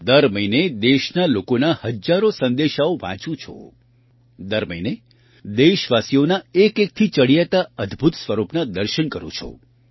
દર મહિને દેશના લોકોના હજારો સંદેશાઓ વાંચું છું દર મહિને દેશવાસીઓના એકએકથી ચડિયાતાં અદ્ભુત સ્વરૂપનાં દર્શન કરું છું